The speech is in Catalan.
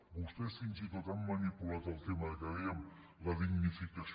vostès fins i tot han manipulat el tema que dèiem de la dignificació